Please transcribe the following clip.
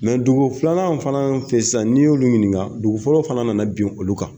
Mɛ dugu filanan fana fɛ sisan, n'i y'olu ɲininka , dugu fɔlɔ fana nana bin olu kan!